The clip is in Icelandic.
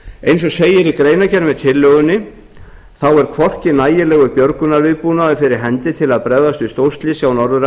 eins og segir í greinargerð með tillögunni er hvorki nægilegur björgunarviðbúnaðar fyrir hendi til að bregðast við stórslysi á norður